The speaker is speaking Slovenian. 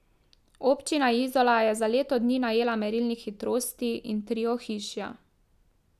Občina Izola je za leto dni najela merilnik hitrosti in tri ohišja.